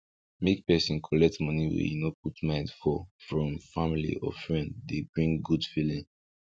make person collect money wey e no put mind for from family or friend dey bring good feeling